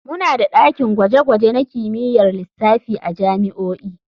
Muna da dakin gwaje-gwaje na kimiyyar lissafi a jami'o'i.